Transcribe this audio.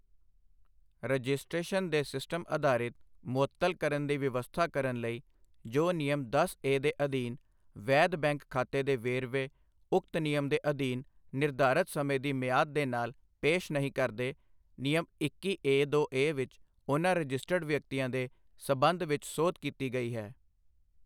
Registration ਦੇ system ਆਧਾਰਿਤ ਮੁਅੱਤਲ ਕਰਨ ਦੀ ਵਿਵਸਥਾ ਕਰਨ ਲਈ ਜੋ ਨਿਯਮ ਦਸ ਏ ਦੇ ਅਧੀਨ ਵੈਧ ਬੈਂਕ ਖਾਤੇ ਦੇ ਵੇਰਵੇ ਉਕਤ ਨਿਯਮ ਦੇ ਅਧੀਨ ਨਿਰਧਾਰਤ ਸਮੇਂ ਦੀ ਮਿਆਦ ਦੇ ਨਾਲ ਪੇਸ਼ ਨਹੀਂ ਕਰਦੇ, ਨਿਯਮ ਇੱਕੀ ਏ ਦੋ ਏ ਵਿੱਚ ਉਨ੍ਹਾਂ ਰਜਿਸਟਰਡ ਵਿਅਕਤੀਆਂ ਦੇ ਸਬੰਧ ਵਿੱਚ ਸੋਧ ਕੀਤੀ ਗਈ ਹੈ।